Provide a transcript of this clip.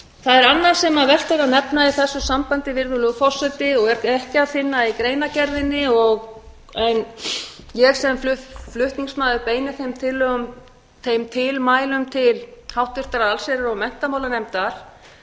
það er annað sem vert er að nefna í þessu sambandi virðulegur forseti og er ekki að finna í greinargerðinni en ég sem flutningsmaður beini þeim tilmælum til háttvirtrar allsherjar og menntamálanefndar